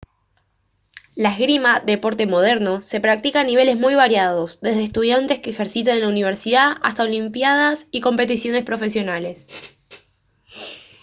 la esgrima deporte moderno se practica a niveles muy variados desde estudiantes que ejercitan en la universidad hasta olimpiadas y competiciones profesionales